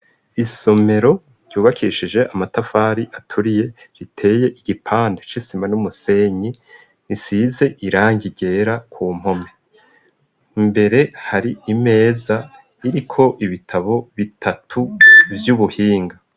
Isomero ryubakishije amatafari aturiye, riteye igipande c'isima n'umusenyi, gisize irangi ryera ku mpome, imbere hari imeza iriko ibitabo bitatu vy'ubuhinga.